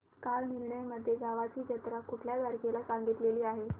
कालनिर्णय मध्ये गावाची जत्रा कुठल्या तारखेला सांगितली आहे